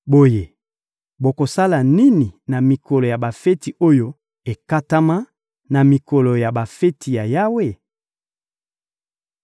Boye, bokosala nini na mikolo ya bafeti oyo ekatama, na mikolo ya bafeti ya Yawe?